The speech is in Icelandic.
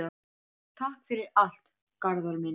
Takk fyrir allt, Garðar minn.